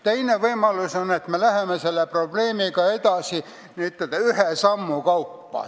Teine võimalus on, et me läheme selle probleemiga edasi n-ö ühe sammu kaupa.